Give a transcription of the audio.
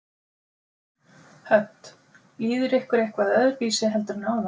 Hödd: Líður ykkur eitthvað öðruvísi heldur en áðan?